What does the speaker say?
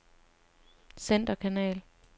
centerkanal